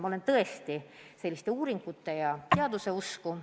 Ma olen tõesti uuringute ja teaduse usku.